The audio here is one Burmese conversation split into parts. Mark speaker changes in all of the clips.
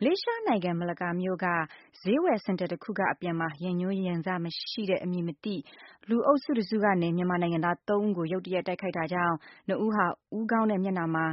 Speaker 1: မလေးရှားနိုင်ငံ၊ မလကာမြို့က ဈေးဝယ်စင်တာအခုကအပြန်မှာ ရန်ငြိုးရန်စမရှိတဲ့ အမည်မသိတဲ့ လူအုပ်စုတစုကနေ မြန်မာနိုင်ငံသား ၃ဦးကို ရုတ်တရက်တိုက်ခိုက်တာကြောင့် ၂ဦးဟာ ဦးခေါင်းနဲ့ မျက်နှာမှာ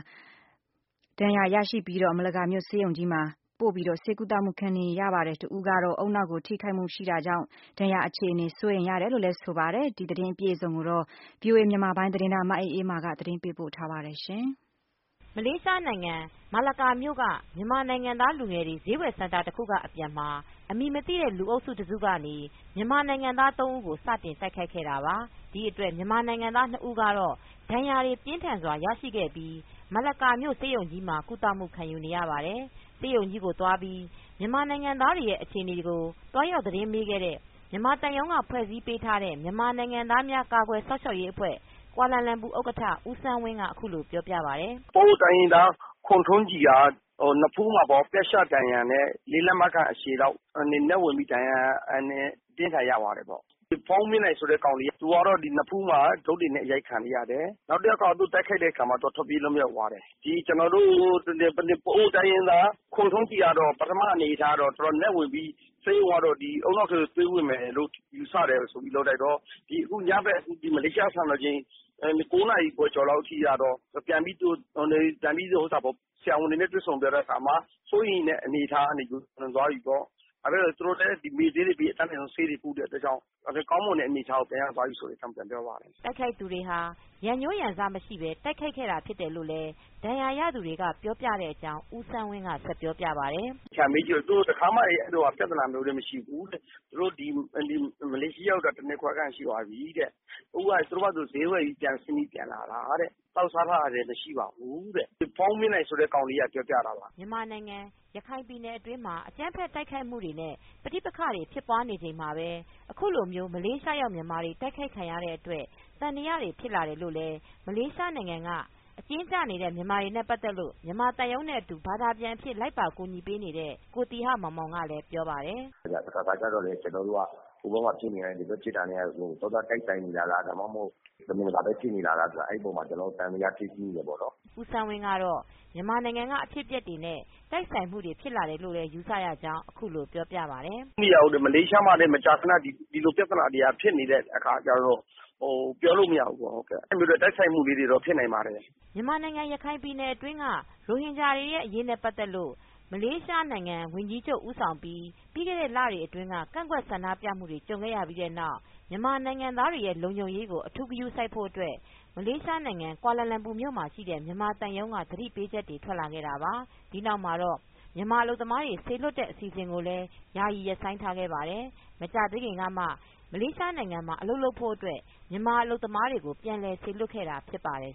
Speaker 1: ပြတ်ရှဒဏ်ရာများရရှိပြီး မလကာမြို့ ဆေးရုံကြီးမှာပို့ပြီး ကုသမူခံနေရပါတယ်။ တဦးကတော့ ဦးနှောက်ကို ထိခိုက်မူတွေရှိတာကြောင့် ဒဏ်ရာအခြေအနေဆိုး တယ်လို့ ဆိုပါတယ်။ ဒီအကြောင်းအပြည့်အစုံကို ဗွီအိုအေ မြန်မာပိုင်းသတင်းထောက် မအေးအေးမာ က သတင်းပေးပို့ထားပါတယ်။
Speaker 2: မလေးရှားနိုင်ငံ၊ မလကာမြို့က မြန်မာနိုင်ငံသားလူငယ်တွေ ဈေးဝယ်စင်တာတခုကအပြန်မှာ အမည်မသိတဲ့ လူအုပ်စုတစုကနေ မြန်မာနိုင်ငံသား ၃ဦးကို စတင်တိုက်ခိုက်ခဲ့တာပါ။ ဒီအတွက် မြန်မာနိုင်ငံသား ၂ဦးကတော့ ဒဏ်ရာတွေပြင်းထန်းစွာရရှိခဲ့ပြီးမလကာဆေးရုံကြီးမှာ ကုသမူခံယူနေရပါတယ်။ ဆေးရုံကြီးကိုသွားပြီး မြန်မာနိုင်ငံသားတွေကို သွားရောက်သတင်းမေးခဲ့တဲ့ မြန်မာသံရုံးက ဖွဲ့စည်းပေးထားတဲ့ မြန်မာနိုင်ငံသားများ ကာကွယ်စောင့်ရှောက်အဖွဲ့ ဥက္ကဌ ဦးစန်းဝ
Speaker 3: င်းက အခုလိုပြောပြပါတယ်။ “ပအိုဝ်း တိုင်းရင်းသား ခွန်ထွန်းကြည်က နဖူးမှာ ပြတ်ရှဒဏ်ရာနဲ့ ၄ လက်မခန့် အရှည်လောက် ဝင်ပြီးတော့ ဒဏ်ရာအပြင်းအထန် ရသွားတယ်ပေါ့နော်။ ဘုန်းမြင့်နိုင်ဆိုတဲ့ ကောင်လေးက သူက နဖူးမှာ ဒုတ်တွေနဲ့ အရိုက်ခံရတယ်။ နောက်တယောက်ကတော့ သူ့ကိုတိုက်ခိုက်တဲ့အခါမှာ သူက ထွက်ပြေးလွှတ်မြောက်သွားတယ်။ ကျနော်တို့ ပအိုဝ်း တိုင်းရင်းသား ခွန်ထွန်းကြည်ကတော့ ပထမအနေအထားကတော့ တော်တော်နက်ဝင်ပြီး ဆေးရုံကတော့ ခေါင်းထဲသွေးဝင်မယ်လို့ ယူဆတယ်ဆိုပြီး လုပ်လိုက်တော့ ဒီညဘက်မလေးရှားစံတော်ချိန် ၉ နာရီကျော်ကျော်လောက် အထိကတော့ ပြန်ပြီးတော့ ဆရာဝန်တွေနဲ့တွေ့ဆုံပြီးတဲ့အခါမှာ စိုးရိမ်ရတဲ့အနေအထားကနေ ကျော်လွန်သွားပြီပေါ့ ၊ ဘာဖြစ်လို့လဲဆိုတော့ သူတို့လည်းမေ့ဆေးတွေပေး အတတ်နိုင်ဆုံး ဆေးကုတဲ့အတွက်ကြောင့် ကောင်းမွန်တဲ့အနေအထားကို ပြန်ရသွားပြီဆိုတဲ့အကြောင်းပြောပါတယ်
Speaker 2: ။” တိုက်ခိုက်သူတွေဟာ ရန်ငြိုးရန်စမရှိပဲတိုက်ခိုက်တာဖြစ်တယ်လို့လည် း ဒဏ်ရာရသူတွေကပြောပြတဲ့ အကြောင်း ဦးစန်းဝင်းကဆက်ပြောပြပါတယ်
Speaker 3: ။ “သေချာမေးကြည့်တော့ သူတို့က တခါမှလည်းအဲဒီလိုပြဿနာတွေမရှိဘူး။ သူတို့ မလေးရှားရောက်တာ ၁ နှစ်ခွဲခန့်ရှိသွားပြီတဲ့ အခုက သူတို့ဈေးဝယ်ပြီးတော့ ပြန်လာတာတဲ့ သောက်စားတာတွေလည်းမရှိပါဘူးတဲ့ ဒီဘုန်းမြင့်နိုင်ဆိုတဲ့ ကောင်ကလေးက ပြောပြတာပါ။” မ
Speaker 2: ြန်မာနိုင်ငံ၊ ရခိုင်ပြည်နယ်အတွင်းမှာ အကြမ်းဖက်တိုက်ခိုက်မူတွေ နဲ့ ပဋိပက္ခတွေဖြစ်နေချိန်မှာပဲအခု လို့မလေးရှားရောက်မြန်မာတွေတိုက်ခိုက်ခံရတဲ့အတွက် သံသယတွေဖြစ်လာတယ်လို့ လည်း မလေးရှားနိုင်ငံက အကျဉ်းကျနေတဲ့မြန်မာတွေနဲပတ်သက်လို့ မြန်မာသံရုံးနဲ့ အတူ ဘာသာပြန်အဖြစ် လိုက်ပါအကူညီပေးနေတဲ့ ကိုသီဟမောင်မောင်ကလည်း ဆိုပါတယ်
Speaker 3: ။ “တခါတခါကျတော့လည်း ကျနော်တို့က ဟိုဘက်မှာဖြစ်နေတာတွေက ဒီဘက်မှာဖြစ်နေတာတွေနဲ့ သွားသွား တိုက်ဆိုင် နေတာလား၊ ဒါမှမဟုတ် တမင်တကာပဲဖြစ်နေတာလားဆိုတာ အဲဒီအပေါ်မှာ ကျနော်တို့ သံဿယဖြစ်မိတယ်ပေါ့နော်
Speaker 2: ။” ဦးစန်းဝင်းကတော့ မြန်မာနိုင်ငံကအဖြစ်အပျက်တွေနဲ့ တိုက်ဆိုင်မူတွေဖြစ်လာတယ်လို့ ယူဆရကြောင်းအခုလိုပြောပါတယ်။
Speaker 3: “မလေးရှားမှာလည်း ဒီလိုပြဿနာတွေက မကြာခဏဖြစ်နေတဲ့အခါကျတော့ ပြောလို့မရဘူးပေါ့နော် တိုက်ခိုက်မှုလေးတွေက ဖြစ်နိုင်ပါတယ်။
Speaker 2: ” မြန်မာနိုင်ငံရခိုင်ပြည်နယ်အတွင်းက ရိုဟင်ဂျာတွေရဲ့ အရေးနဲ့ ပတ်သက်လို့ မလေးရှားဝန်ကြီးချုပ် ဦးဆောင်ပြီး ပြီးခဲ့တဲ့လတွေအတွင်း ကန့်ကွက်ဆန္ဒပြမှုတွေ ကြုံခဲ့ရပြီးနောက် မြန်မာနိုင်ငံသားတွေရဲ့ လုံခြုံရေးကို အထူးဂရုစိုက်ဖို့ အတွက် မလေးရှားနိုင်ငံကွာလာလမ်ပူမှ ာရှိတဲ့ မြန်မာသံရုံးက သတိပေးချက်တွေ ထွက်လာခဲ့တာပါ။ ဒီနောက်မှာတော့မြန်မာအလုပ်သမားတွေ စေလွှတ်တဲ့ အစီအစဉ်ကိုလည်း ယာယီရပ်ဆိုင်းထားခဲ့ပါတယ်။ မကြာသေးခင်ကမှ မလေးရှားနိုင်ငံမှာ အလုပ်လုပ်ဖို့ မြန်မာလုပ်သားတွေကို ပြန်လည်စေလွတ်ခဲ့တာဖြစ်ပါတယ်